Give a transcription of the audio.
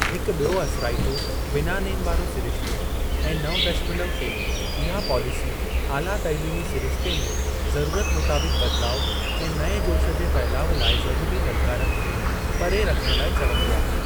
हिक ॿियो असराइतो बिना नेम वारो सिरिश्तो, ऐं नव दशमलव टे इहा पॉलिसी आला तालीमी सिरिश्ते में ज़रूरत मुताबिक़ु बदलाउ ऐं नएं जोश जे फहिलाउ लाइ ज़रूरी ललकारनि खे परे रखण लाइ चवंदी आहे।